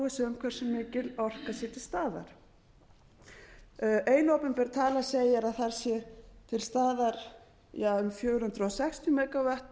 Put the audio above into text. um hversu mikil orka sé til staðar ein opinber tala segir að þar sé til staðar um fjögur hundruð sextíu megavatt